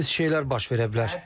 Pis şeylər baş verə bilər.